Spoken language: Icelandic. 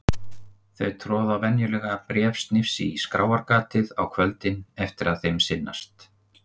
Þau troða venjulega bréfsnifsi í skráargatið á kvöldin eftir að þeim sinnast.